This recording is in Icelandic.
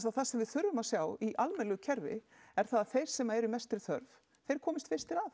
það sem við þurfum að sjá í í almennilegu kerfi er það að þeir sem eru mestri þörf þeir komist fyrstu að